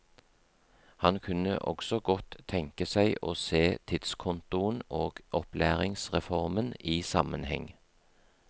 Han kunne også godt tenke seg å se tidskontoen og opplæringsreformen i sammenheng.